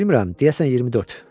Bilmirəm, deyəsən 24.